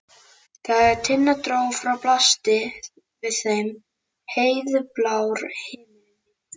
Þegar Tinna dró frá blasti við þeim heiðblár himinn.